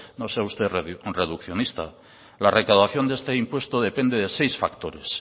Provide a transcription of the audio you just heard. no sea usted reduccionista la recaudación de este impuesto depende de seis factores